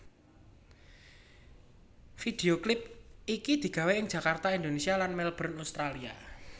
Video klip iki digawé ing Jakarta Indonesia lan Melbourne Australia